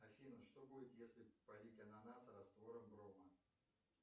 афина что будет если полить ананас раствором брома